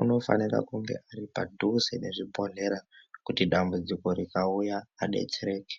unofanira kunge ari padhuze nezvibhodhlera kuti dambudziko rikauya adereke.